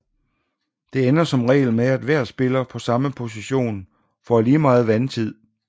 Det ender som regel med at hver spiller på samme position får lige meget vandtid